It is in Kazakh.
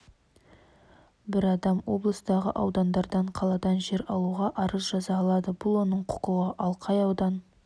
бір адам облыстағы аудандардан қаладан жер алуға арыз жаза алады бұл оның құқығы ал қай аудан